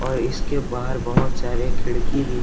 और इसके बाहर बहुत सारे खिड़की भी है।